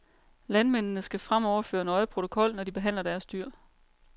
Landmændene skal fremover føre nøje protokol, når de behandler deres dyr.